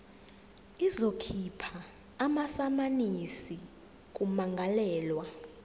izokhipha amasamanisi kummangalelwa